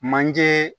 Manje